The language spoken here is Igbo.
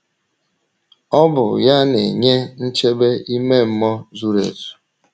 Ọ bụ ya na - enye nchebe ime mmụọ zuru ezu.